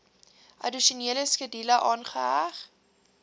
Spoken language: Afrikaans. addisionele skedule aangeheg